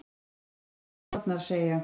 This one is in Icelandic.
Gera betur en spárnar segja